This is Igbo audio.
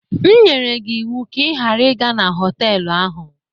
M nyere gị ịwụ ka ị ghara ịga na họtelụ ahụ!